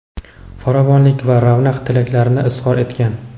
farovonlik va ravnaq tilaklarini izhor etgan.